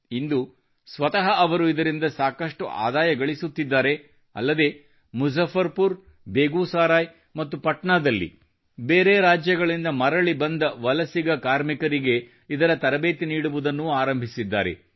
ಇಂದು ಸ್ವತಃ ಅವರು ಇದರಿಂದ ಸಾಕಷ್ಟು ಆದಾಯಗಳಿಸುತ್ತಿದ್ದಾರೆ ಅಲ್ಲದೇ ಮುಝಫರ್ ಪುರ್ ಬೇಗೂಸರಾಯ್ ಮತ್ತು ಪಾಟ್ನಾದಲ್ಲಿ ಬೇರೆ ರಾಜ್ಯಗಳಿಂದ ಮರಳಿ ಬಂದ ವಲಸಿಗ ಕಾರ್ಮಿಕರಿಗೆ ಇದರ ತರಬೇತಿ ನೀಡುವುದನ್ನೂ ಆರಂಭಿಸಿದ್ದಾರೆ